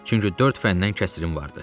Çünki dörd fəndən kəsirim vardı.